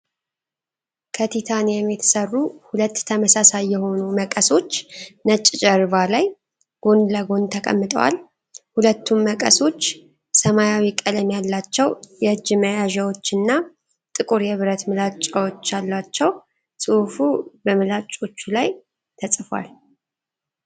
ከቲታኒየም የተሠሩ ሁለት ተመሳሳይ የሆኑ መቀሶች ነጭ ጀርባ ላይ ጎን ለጎን ተቀምጠዋል። ሁለቱም መቀሶች ሰማያዊ ቀለም ያላቸው የእጅ መያዣዎችና ጥቁር የብረት ምላጭዎች አሏቸው። ጽሑፍ በምላጭዎቹ ላይ ተጽፏል።